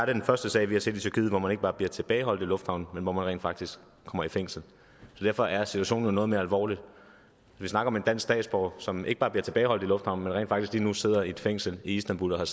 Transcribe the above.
er den første sag vi har set i tyrkiet hvor man ikke bare bliver tilbageholdt i lufthavnen men rent faktisk kommer i fængsel derfor er situationen noget mere alvorlig vi snakker om en dansk statsborger som ikke bare bliver tilbageholdt i lufthavnen rent faktisk lige nu sidder i et fængsel i istanbul og har